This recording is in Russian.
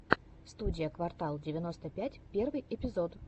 студия квартал девяносто пять первый эпизод